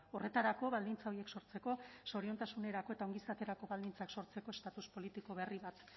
horretarako baldintza horiek sortzeko zoriontasunerako eta ongizaterako baldintzak sortzeko estatus politiko berri bat